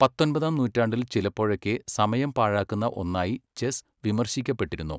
പത്തൊൻപതാം നൂറ്റാണ്ടിൽ ചിലപ്പോഴൊക്കെ സമയം പാഴാക്കുന്ന ഒന്നായി ചെസ്സ് വിമർശിക്കപ്പെട്ടിരുന്നു.